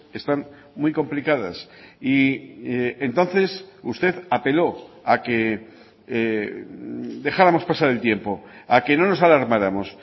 están muy complicadas y entonces usted apeló a que dejáramos pasar el tiempo a que no nos alarmáramos